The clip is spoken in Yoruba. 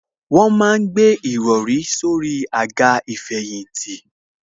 Wọ́n ma ń gbé ìrọrí sórí àga ìfẹ̀yìntì